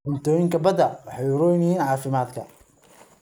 Cuntooyinka badda waxay u roon yihiin caafimaadka.